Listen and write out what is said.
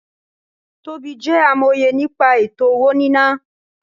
Tobí jẹ́ amòye nípa ètò-owó-níná